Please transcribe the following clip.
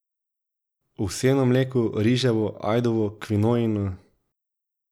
Ovseno mleko, riževo, ajdovo, kvinojino...